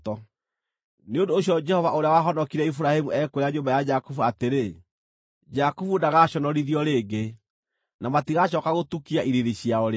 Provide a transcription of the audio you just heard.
Nĩ ũndũ ũcio Jehova ũrĩa wahonokirie Iburahĩmu ekwĩra nyũmba ya Jakubu atĩrĩ: “Jakubu ndagaaconorithio rĩngĩ; na matigacooka gũtukia ithiithi ciao rĩngĩ.